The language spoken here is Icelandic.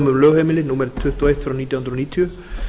lögheimili númer tuttugu og eitt nítján hundruð níutíu